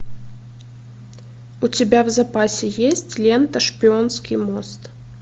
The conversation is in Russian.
у тебя в запасе есть лента шпионский мост